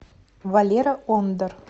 валера ондар